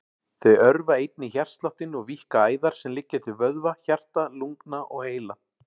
Þau örva einnig hjartsláttinn og víkka æðar sem liggja til vöðva, hjarta, lungna og heila.